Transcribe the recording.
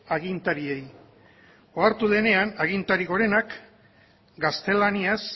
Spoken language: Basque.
agintariei ohartu denean agintari gorenak gaztelaniaz